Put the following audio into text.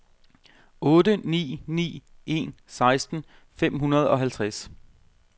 otte ni ni en seksten fem hundrede og halvtreds